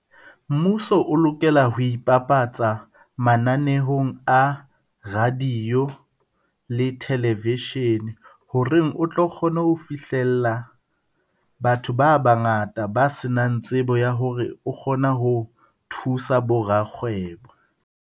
Mmuso o lokela ho ipapatsa mananehong a radio le television, horeng o tlo kgone ho fihlella batho ba bangata ba se nang tsebo ya hore o kgona ho thusa bo rakgwebo.